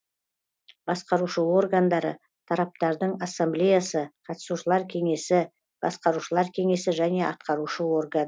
басқарушы органдары тараптардың ассамблеясы қатысушылар кеңесі басқарушылары кеңесі және атқарушы орган